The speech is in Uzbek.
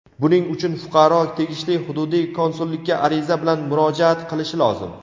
Buning uchun fuqaro tegishli hududiy konsullikka ariza bilan murojaat qilishi lozim.